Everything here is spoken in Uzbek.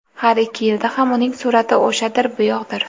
Har ikki yilda ham uning surati o‘shadir-bug‘doydir.